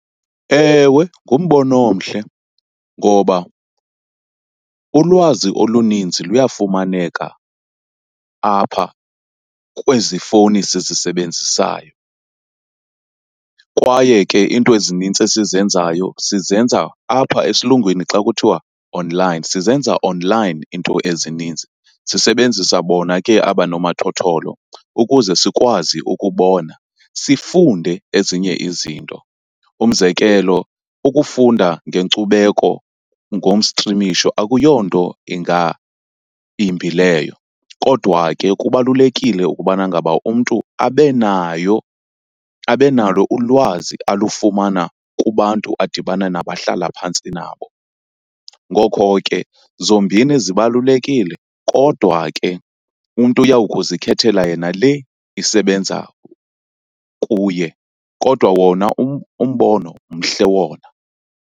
Ewe, ngumbono omhle ngoba ulwazi oluninzi luyafumaneka apha kwezi fowuni sizisebenzisayo kwaye ke iinto ezinintsi esizenzayo sizenza apha, esilungwini xa kuthiwa online, sizenza online iinto ezininzi. Sisebenzisa bona ke aba nomathotholo ukuze sikwazi ukubona, sifunde ezinye izinto. Umzekelo ukufunda ngenkcubeko ngomstrimisho akuyonto imbi leyo kodwa ke kubalulekile ukubana ngaba umntu abe nayo abe nalo ulwazi alufumana kubantu adibane nabo ahlala phantsi nabo. Ngoko ke zombini zibalulekile kodwa ke umntu uya kuzikhethela yena le isebenza kuye kodwa wona umbono, mhle wona.